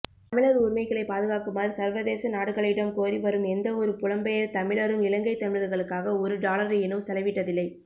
தமிழர் உரிமைகளை பாதுகாக்குமாறு சர்வதேச நாடுகளிடம் கோரி வரும் எந்தவொரு புலம்பெயர் தமிழரும் இலங்கைத் தமிழர்களுக்காக ஒரு டொலரையேனும் செலவிட்டதில்லை